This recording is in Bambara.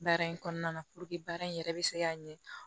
Baara in kɔnɔna baara in yɛrɛ bɛ se ka ɲɛ